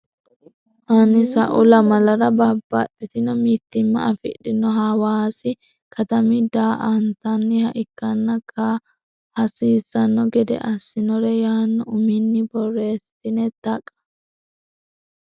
hanni sa u lamalara Babbaxxitino mitiimma afidhino Hawaasi katami daa antanniha ikkanno kaa hasiissanno gede assinore yaanno uminni borreessitini Taqa.